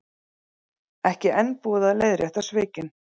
Ekki enn búið að leiðrétta svikin